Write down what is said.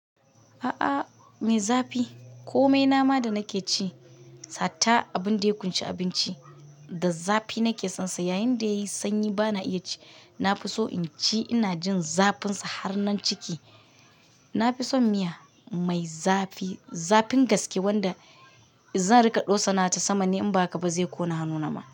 A'a, mai zafi. Ko mai nama da nake ci, hatta abin da ya ƙunshi abinci da zafi nake sonsa. Yayinda yayi sanyi bana iya ci. Nafiso in ci ina jin zafin sa har nan ciki. Nafison miya mai zafi, zafin gaske wanda zan rika ɗosana ta sama ne in ba haka ba zai ƙona hannuna ma.